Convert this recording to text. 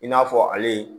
I n'a fɔ ale